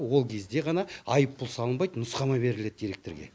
ол кезде ғана айыппұл салынбайды нұсқама беріледі директорге